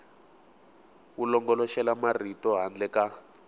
wu longoloxela marito handle ka